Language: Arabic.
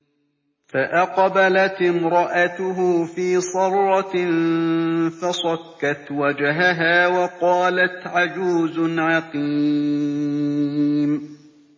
فَأَقْبَلَتِ امْرَأَتُهُ فِي صَرَّةٍ فَصَكَّتْ وَجْهَهَا وَقَالَتْ عَجُوزٌ عَقِيمٌ